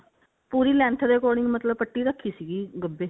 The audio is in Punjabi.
ਪੂਰੀ length ਦੇ according ਮਤਲਬ ਪੱਟੀ ਰੱਖੀ ਸੀਗੀ ਗੱਭੇ